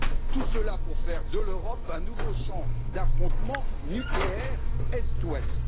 Tout cela pour faire de l'Europe un nouveau champ d'affrontement nucléaire Est Ouest.